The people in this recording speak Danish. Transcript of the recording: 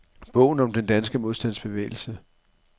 Bogen om den danske modstandsbevægelse.